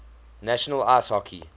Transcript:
national ice hockey